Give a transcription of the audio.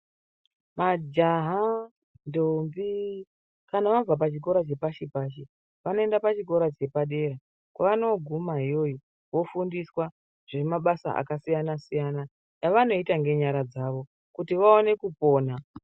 Majaha ndombi kana vabva pachikora chepashi-pashi, vanoenda pachikora chepadera. Kwavanoguma iyoyo vofundiswa zvemabasa akasiyana-siyana, avanoita ngenyara dzavo kuti vaone kupona.